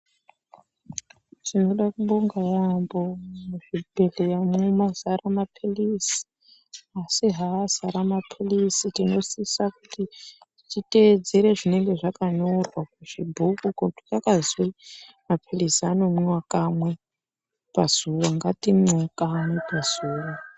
Tinoda kubonga yambo mu zvibhedhlera mwo mazara mapilizi asi haa azara mapilizi tino sisa kuti ti tedzere zvinenge zvaka nyorwa ku chibhuku ko kuti kwakazwi mapilizi ano mwiwa kamwe pazuva ngati mwewo kamwe pazuva.